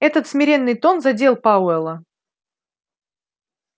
этот смиренный тон задел пауэлла